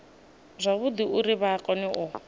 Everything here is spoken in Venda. zwavhudi uri vha kone u